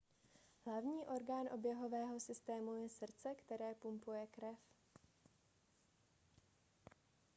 hlavní orgán oběhového systému je srdce které pumpuje krev